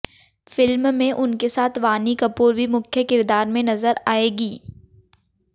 film में उनके साथ वाणी कपूर भी मुख्य किरदार में नजर आएंगी